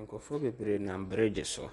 Nkurɔfoɔ bebree nam bregye so.